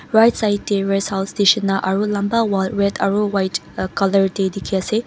right side teh resthouse neshina aro lamba wall red aro white colour teh teki ase.